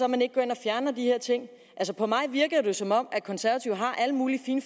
man ikke går ind og fjerner de her ting på mig virker det jo som om de konservative har alle mulige fine